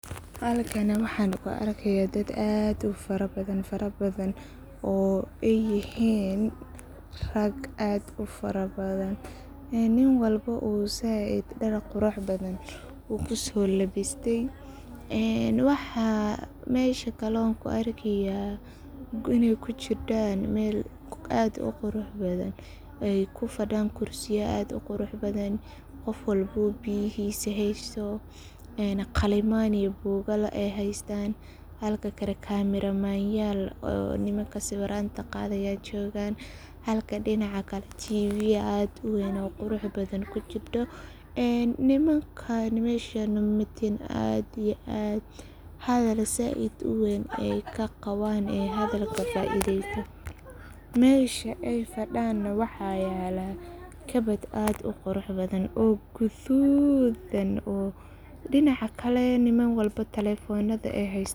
Halkan waxan ku arkaya dad fara badan fara badan oo ay yihin raag aad u fara badan. Nin walba uu dhar zaid u qurux badan kuso labistey ,maxan kale oo mesha kuarkaya iney kujidan mel aad u qurux badan, ay kufadan kursiya aad u qurux badan qof walba biyahisa heysto ,Qaliman iyo bugaal ay heystan halka kale cameramanyal ,nimanka sawiranta qadaya aa jogan, Halka dinaca kale TV aad u weyn oo qurux badan kujirto .Nimankan mesha jogaan hadal zaid u weyn ayey kaqawan mesha aya fadana waxa yela kabad aad u qurux badan oo gadud ah ,dinaca kale nin walba talefonada ay hestan.